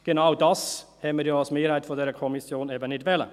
Genau das wollten wir, die Mehrheit dieser Kommission, ja nicht.